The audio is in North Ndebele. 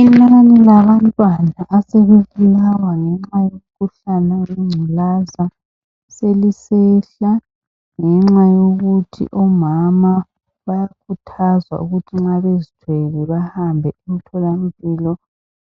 Inani labantwana asebebulawa ngenxa yomkhuhlane wengculaza selisehla, ngenxa yokuthi omama bayakhuthazwa ukuthi nxa bezithwele bahambe emtholawempilo